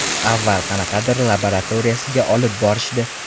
Avval qanaqadir laboratoriyasiga olib borishdi.